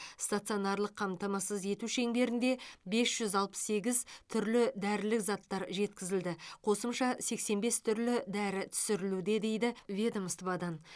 станционарлық қамтамасыз ету шеңберінде бес жүз алпыс сегіз түрлі дәрілік заттар жеткізілді қосымша сексен бес түрлі дәрі түсірілуде дейді ведомстводан